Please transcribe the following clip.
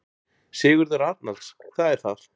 Sigurður Arnalds: Það er það.